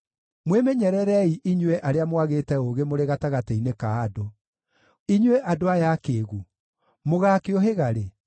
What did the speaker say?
Mwĩmenyererei inyuĩ arĩa mwagĩte ũũgĩ mũrĩ gatagatĩ-inĩ ka andũ; inyuĩ andũ aya akĩĩgu, mũgaakĩũhĩga rĩ?